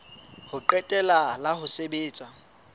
ho qetela la ho sebetsa